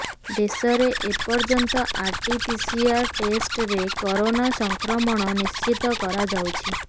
ଦେଶରେ ଏପର୍ଯ୍ୟନ୍ତ RT PCR ଟେଷ୍ଟରେ କରୋନା ସଂକ୍ରମଣ ନିଶ୍ଚିତ କରାଯାଉଛି